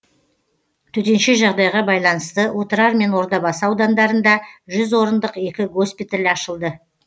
төтенше жағдайға байланысты отырар мен ордабасы аудандарында жүз орындық екі госпиталь ашылды